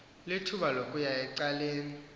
lithuba lokuya ecaleni